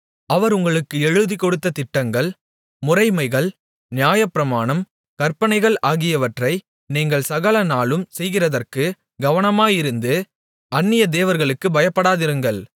அவர் உங்களுக்கு எழுதிக்கொடுத்த திட்டங்கள் முறைமைகள் நியாயப்பிரமாணம் கற்பனைகள் ஆகியவற்றை நீங்கள் சகல நாளும் செய்கிறதற்குக் கவனமாயிருந்து அந்நிய தேவர்களுக்குப் பயப்படாதிருங்கள்